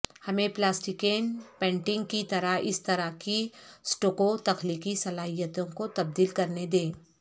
ہمیں plasticine painting کی طرح اس طرح کی سٹوکو تخلیقی صلاحیتوں کو تبدیل کرنے دیں